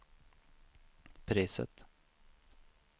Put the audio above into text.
priset